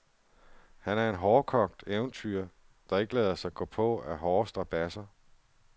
Han er en hårdkogt eventyrer, der ikke lader sig gå på af hårde strabadser.